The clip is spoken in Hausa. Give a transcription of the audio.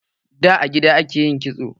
Da, a gida ake yin kitso.